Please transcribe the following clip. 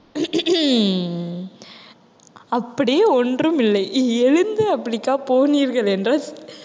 அப்படி ஒன்றுமில்லை எழுந்து அப்படிக்கா போனீர்கள் என்றால்